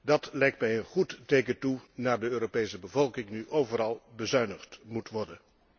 Dat lijkt mij een goed teken toe naar de Europese bevolking nu overal bezuinigd moet worden.